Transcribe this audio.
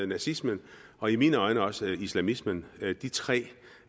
nazismen og i mine øjne også islamismen